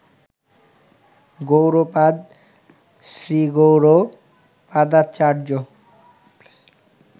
Gaudapada শ্রীগৌড়পাদাচার্য